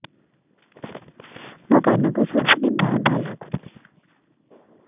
ମୋ କାନକୁ ଶୁଭୁନି ଭା ଭା ଲାଗୁଚି